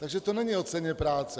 Takže to není o ceně práce.